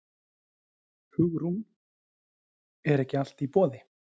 Hugrún: Er ekki allt í boði?